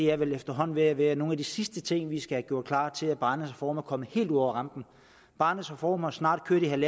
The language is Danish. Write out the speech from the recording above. er vel efterhånden ved at være nogle af de sidste ting vi skal have gjort klar til at barnets reform kommer helt ud over rampen barnets reform har snart kørt i en en